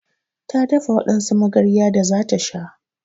Ta dafa wadansu magarya da zata sha